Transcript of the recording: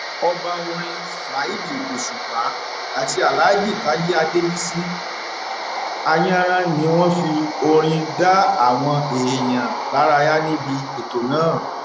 ọba orin saheed òṣùpá àti alhaji taye adébísí ayaran ni wọn fi orin dá àwọn èèyàn lárayá níbi ètò náà